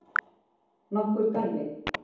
Nokkur dæmi?